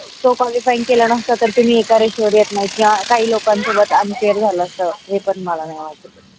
तो qualified केला नसता तर तुम्ही एका रेषेवर येत नाही या काही लोकां सोबत unfair झाल असत. हे पण मला नाही वाटत.